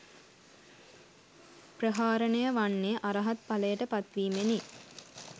ප්‍රහාණය වන්නේ, අරහත් ඵලයට පත් වීමෙනි.